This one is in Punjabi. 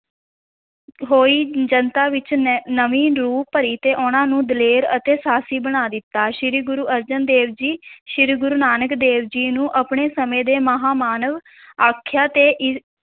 ਹੋਈ ਜਨਤਾ ਵਿੱਚ ਨ~ ਨਵੀਂ ਰੂਹ ਭਰੀ ਤੇ ਉਹਨਾਂ ਨੂੰ ਦਲੇਰ ਅਤੇ ਸਾਹਸੀ ਬਣਾ ਦਿੱਤਾ, ਸ੍ਰੀ ਗੁਰੂ ਅਰਜਨ ਦੇਵ ਜੀ ਸ੍ਰੀ ਗੁਰੂ ਨਾਨਕ ਦੇਵ ਜੀ ਨੂੰ ਆਪਣੇ ਸਮੇਂ ਦੇ ਮਹਾਂ ਮਾਨਵ ਆਖਆ ਤੇ ਇ~